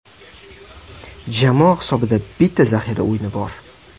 Jamoa hisobida bitta zaxira o‘yini bor.